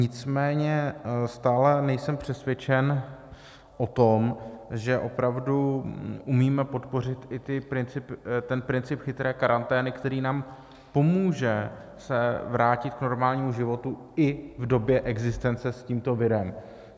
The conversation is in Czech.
Nicméně stále nejsem přesvědčen o tom, že opravdu umíme podpořit i ten princip chytré karantény, který nám pomůže se vrátit k normálnímu životu i v době existence s tímto virem.